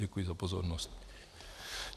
Děkuji za pozornost.